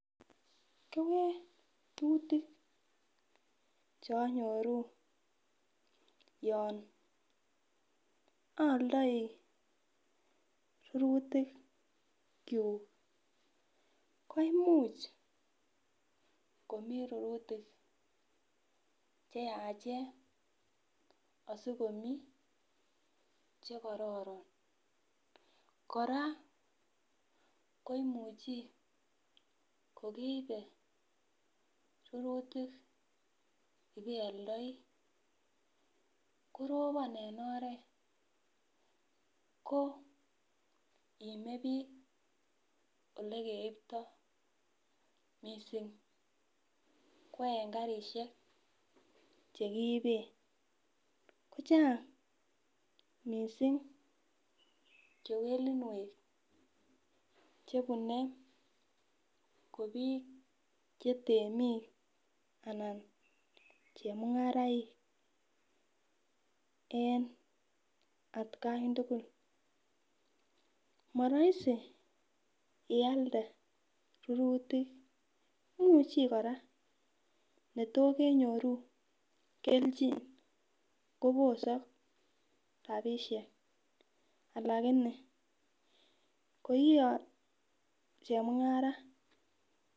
Kewelutik cheanyoru yon aoldoi rurutikyuk ko imuch komii rurutik cheachen asikomii chekororon. Kora koimuchi kokeibe rururtik ibealdoi, koropon en oret koo iime biik elekeiptoo missing ko en karisiek chekiiben ,kochang missing kewelinwek chebunee ko biik chetemik anan chemung'araik en atkan tugul morohisi ialde rururtik, imuchi kora netokenyoru kelchin kobosok rapisiek alakini koi chemung'ara.